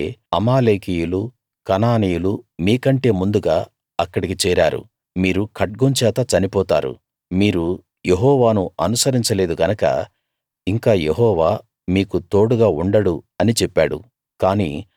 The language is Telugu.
ఎందుకంటే అమాలేకీయులు కనానీయులు మీకంటే ముందుగా అక్కడికి చేరారు మీరు ఖడ్గం చేత చనిపోతారు మీరు యెహోవాను అనుసరించ లేదు గనక ఇంక యెహోవా మీకు తోడుగా ఉండడు అని చెప్పాడు